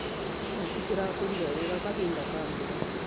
Nyeki cirakũrire wega kahinda ka mbura.